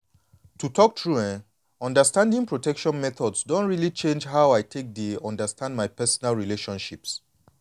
to talk true eh understanding protection methods don really change how i take dey handle my personal relationships.